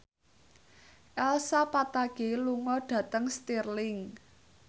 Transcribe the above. Elsa Pataky lunga dhateng Stirling